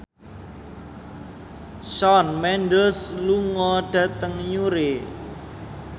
Shawn Mendes lunga dhateng Newry